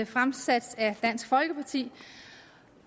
fremsat af dansk folkeparti